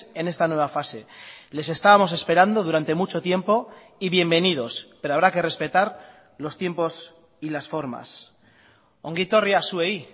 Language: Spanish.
en esta nueva fase les estábamos esperando durante mucho tiempo y bienvenidos pero habrá que respetar los tiempos y las formas ongi etorria zuei